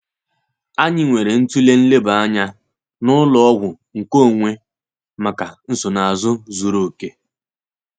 Anyi nwere ntụle nleba anya n'ụlo ọgwư nkeonwe maka nsonaazù zuru òke.